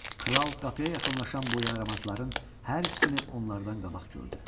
Kral qapıya yaxınlaşan bu yaramazların hər ikisini onlardan qabaq gördü.